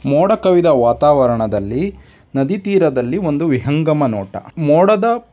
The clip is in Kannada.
ಮೂಡದ ಮೂಡ್ ಕವಿದ ವಾತಾವರಣದಲ್ಲಿ ನದಿ ತೀರದಲ್ಲಿ ಒಂದು ವಿಹಂಗಮ ನೋಟ್ ಮೂಡದ --